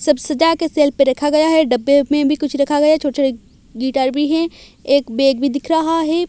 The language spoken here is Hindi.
सब सजा के शेल्फ पे रखा गया है डब्बे में भी कुछ रखा गया है छोटे-छोटे गिटार भी है एक बैग भी दिख रहा है।